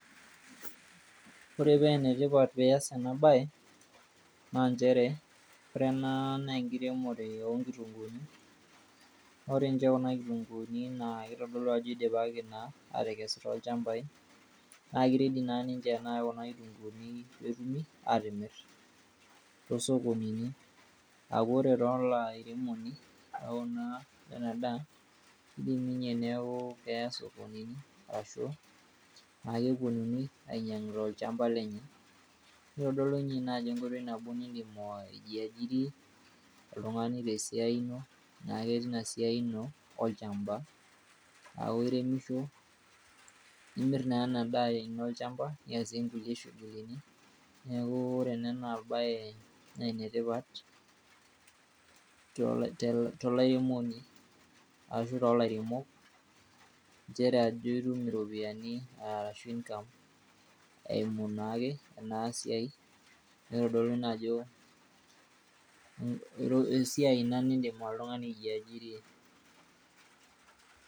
ore paa enetipat pee ias ena bae, naa nchere, ore ena naa enkiremore oonkitunkuuni, ore kuna kitunguni naa kitodolu ajo eidipaki aatekesu toolchampai. naa ki ready naa kuna kitynkuuni pee epuoi aamir toosokonini. ore naa olairemoni lena daa kidim ninye neeku keya sokonini, ashu epuonunui ainyiang'u tolchampa lenye. kitodolu ninye ina ajo enkoitoi nabo nidim aijiajiri oltungani te siai ino, ilo ake tesiai ino olchampa. aaku iremisho, nimir naa ena daa ino olchampa niasie kulie shughulini nee ku ore ena bae naa ene tipat tolairemoni ashu toolairemok. nchere ajo itum iropiyiani ashu eimu naake ena siai, nitodolu naake ajo esiai nidim oltungani aijiajiria.